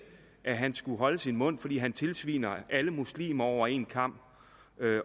at han skulle holde sin mund fordi han tilsviner alle muslimer over en kam